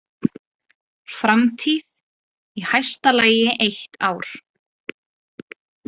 Framtíð: í hæsta lagi eitt ár.